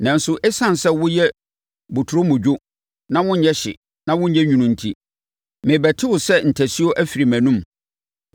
Nanso, ɛsiane sɛ woyɛ boturobodwo, na wonyɛ hye na wonyɛ nwunu enti, merebɛte wo sɛ ntasuo afiri mʼanom.